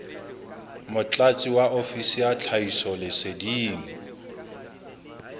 motlatsi wa ofisiri ya tlhahisoleseding